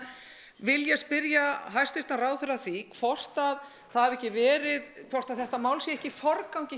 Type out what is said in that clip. vil ég spyrja hæstvirtan ráðherra að því hvort að það hafi ekki verið hvort að þetta mál sé ekki í forgangi